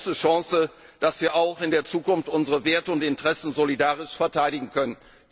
Sie ist die große Chance, dass wir auch in der Zukunft unsere Werte und Interessen solidarisch verteidigen können.